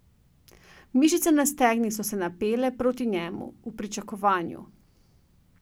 Mišice na stegnih so se napele proti njemu, v pričakovanju.